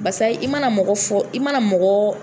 Basa, i mana mɔgɔ fɔ , i mana mɔgɔ